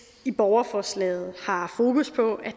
i borgerforslaget har fokus på at